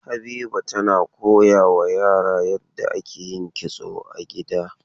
Habiba tana koyawa yara yadda ake yin kitso a gida.